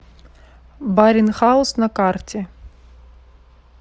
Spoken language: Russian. барин хаус на карте